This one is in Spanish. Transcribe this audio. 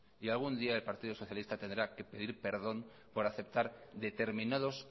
y algún día el partido socialista tendrá que pedir perdón por aceptar determinados